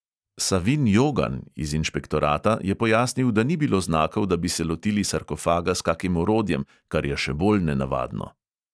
Savin jogan iz inšpektorata je pojasnil, da ni bilo znakov, da bi se lotili sarkofaga s kakim orodjem, kar je še bolj nenavadno.